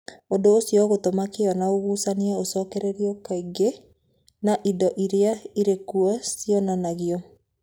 Ũndũ ũcio ũgatũma kĩyo na ũgucania ũcokererũo kaingĩ na indo iria irĩ kuo cianangwo.